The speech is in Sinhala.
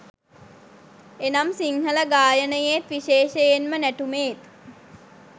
එනම් සිංහල ගායනයේත්, විශේෂයෙන්ම නැටුමේත්